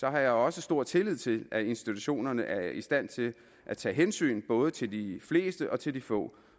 jeg også stor tillid til at institutionerne er i stand til at tage hensyn både til de fleste og til de få